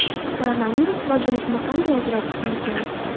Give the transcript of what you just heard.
Koronavirus va grippni qanday ajratish mumkin?